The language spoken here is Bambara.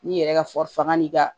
N'i yɛrɛ ka faga n'i ka